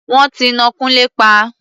Wọ́n ti ná Kúnlé pa.